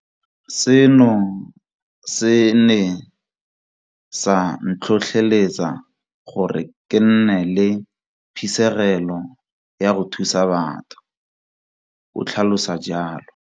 Seno se ne sa ntlhotlheletsa gore ke nne le phisegelo ya go thusa batho, o tlhalosa jalo.